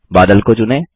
बादल को चुनें